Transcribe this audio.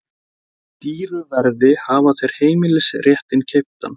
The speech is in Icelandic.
Dýru verði hafa þeir heimilisréttinn keyptan.